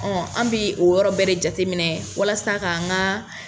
Ɔ an bɛ o yɔrɔ bɛɛ de jateminɛ walasa k'n ka